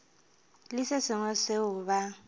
le se sengwe seo ba